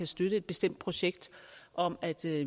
støtte et bestemt projekt om at